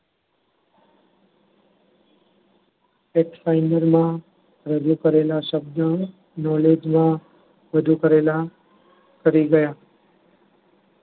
રજુ કરેલા શબ્દો knowledge માં રજુ કરેલા કરી ગયા.